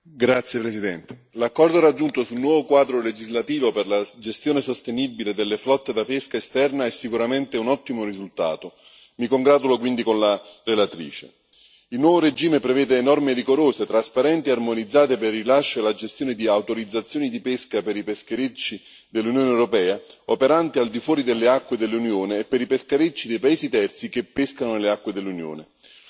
Signor Presidente, onorevoli colleghi, l'accordo raggiunto sul nuovo quadro legislativo per la gestione sostenibile delle flotte da pesca esterna è sicuramente un ottimo risultato, mi congratulo quindi con la relatrice. Il nuovo regime prevede norme rigorose, trasparenti e armonizzate per il rilascio e la gestione di autorizzazioni di pesca per i pescherecci dell'Unione europea operanti al di fuori delle acque dell'Unione e per i pescherecci di paesi terzi che pescano nelle acque dell'Unione.